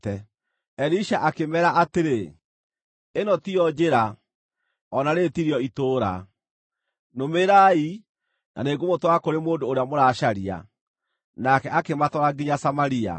Elisha akĩmeera atĩrĩ, “Ĩno tiyo njĩra, o na rĩĩrĩ tirĩo itũũra. Nũmĩrĩrai, na nĩngũmũtwara kũrĩ mũndũ ũrĩa mũracaria.” Nake akĩmatwara nginya Samaria.